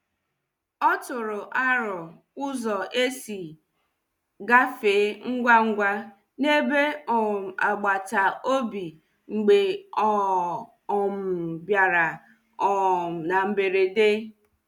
O tụrụ aro ụzọ esi gafee ngwa ngwa n'ebe um agbata obi mgbe ọ um bịara um na mberede.